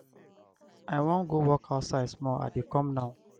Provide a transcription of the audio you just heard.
i wan go walk outside small i dey come now.